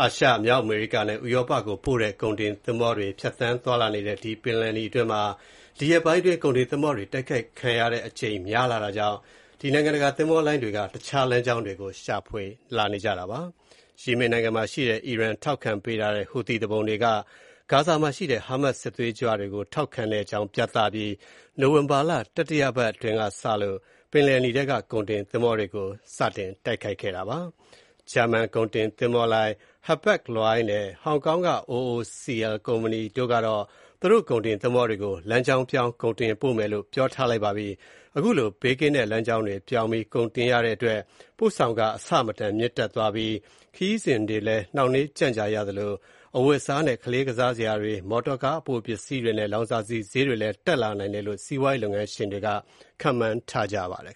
အာရှ၊ မြောက်အမေရိကနဲ့ ဥရောကို ပို့တဲ့ ကုန်တင်သင်္ဘောတွေ ဖြတ်သန်း သွားလာနေတဲ့ ပင်လယ်နီအတွင်းမှာ ဒီရက်ပိုင်းကုန်တင်သင်္ဘောတွေ တိုက်ခိုက်ခံရတဲ့အကြိမ် များလာတာကြောင့်နိုင်ငံတကာ သင်္ဘောလိုင်းတွေက တခြား လမ်းကြောင်းတွေရှာဖွေလာကြပါတယ်။ ယီမင်နိုင်ငံမှာရှိတဲ့ အီရန် ထောက်ခံပေးထားတဲ့ ဟူသီသူပုန်တွေက ဂါဇာမှာရှိတဲ့ဟာမတ်စ် စစ်သွေးကြွတွေကိုထောက်ခံတဲ့အကြောင်း ပြသပြီး နိုဝင်ဘာလ တတိယပတ်အတွင်းကစပြီး ပင်လယ်နီထဲကကုန်တင်သင်္ဘောတွေကို တိုက်ခိုက်နေတာပါ။ ဂျာမန်ကုန်တင် သင်္ဘောလိုင်း Hapag-Lloyd (ဟားပတ်ဂ် လွိုက်ဒ်) နဲ့ Hong Kong က OOCL ကုမ္ပဏီတို့ကတော့ သူတို့ကုန်တင် သင်္ဘောတွေကို လမ်းကြောင်းပြောင်း ကုန်တင်ပို့မယ်လို့ ပြောပါတယ်။ အခုလို ဘေးကင်းတဲ့ လမ်းကြောင်းတွေ ပြောင်းပြီး ကုန်တင်ပို့ရတဲ့အတွက် ပို့ဆောင်ခ အဆမတန် မြင့်သွားပြီး ခရီးစဉ်တွေလည်း နှောင့်နှေးကြန့်ကြာရသလို အဝတ်အစားနဲ့ ကလေးကစားစရာပစ္စည်းတွေ၊ မော်တော်ကားအပိုပစ္စည်းတွေနဲ့ လောင်စာဆီဈေးတွေတက်လာနိုင်တယ်လို့ စီးပွားရေးလုပ်ငန်းရှင်တွေက ခန့်မှန်းကြပါတယ်